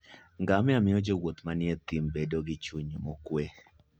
Ngamia miyo jowuoth manie thim bedo gi chuny mokwe.